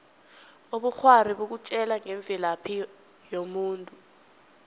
ubukghwari bukutjela ngemvelaphi yomuntu